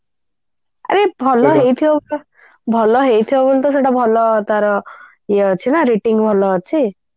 ଆରେ ଭଲ ହେଉଥିବ ବୋଲି ତ ସେଇଟା ଭଲ ତାର rating ଭଲ ଅଛି